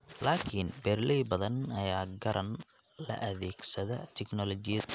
Laakiin beeraley badan ayaa garan la' adeegsiga tignoolajiyadan.